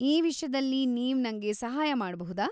ಈ ವಿಷ್ಯದಲ್ಲಿ ನೀವ್ ನಂಗೆ ಸಹಾಯ ಮಾಡ್ಬಹುದಾ?